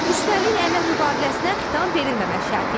Üstəlik əmək müqaviləsinə xitam verilməmək şərti ilə.